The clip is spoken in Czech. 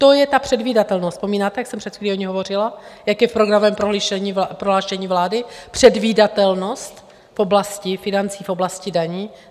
To je ta předvídatelnost, vzpomínáte, jak jsem před chvílí o ní hovořila, jak je v programovém prohlášení vlády předvídatelnost v oblasti financí, v oblasti daní?